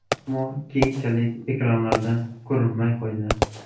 Ammo keyinchalik ekranlarda ko‘rinmay qo‘ydi.